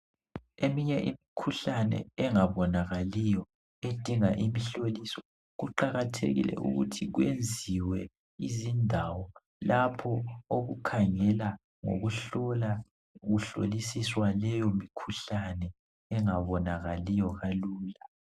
Eminye imikhuhlane engabonakaliyo edinga imhloliso kuqakathekile ukuthi kwenziwe izindawo lapho okukhangela ngokuhlola kuhlolisiswe leyo mikhuhlane engabonakali kalula.